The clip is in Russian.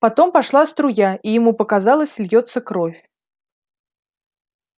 потом пошла струя и ему показалось льётся кровь